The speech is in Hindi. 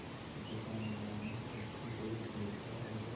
दुकानदार ने उसकी ओर देखा और